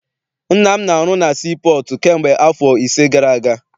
Nna m na- arụ na sii pọọtụ kamgbe afọ ise gara aga.